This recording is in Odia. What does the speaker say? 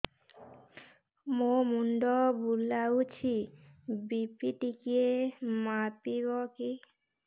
ମୋ ମୁଣ୍ଡ ବୁଲାଉଛି ବି.ପି ଟିକିଏ ମାପିବ କି